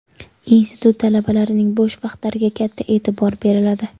Institut talabalarining bo‘sh vaqtlariga katta e’tibor beriladi.